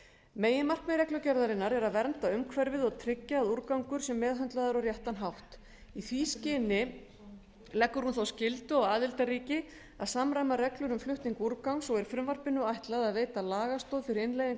meginmarkmið reglugerðarinnar er að vernda umhverfið og tryggja að úrgangur sé meðhöndlaður á réttan hátt í því skyni leggur hún þá skyldu á aðildarríki að samræma reglur um flutning úrgangs og er frumvarpinu ætlað að veita lagastoð fyrir innleiðingu